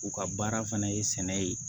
U ka baara fana ye sɛnɛ ye